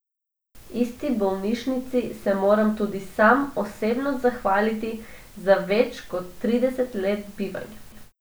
Isti bolnišnici se moram tudi sam osebno zahvaliti za več kot trideset let bivanja.